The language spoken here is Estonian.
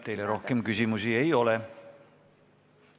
Teile rohkem küsimusi ei ole.